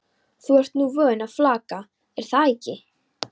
Þú ert nú vön að flaka, er það ekki?